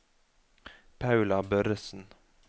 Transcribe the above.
Paula Børresen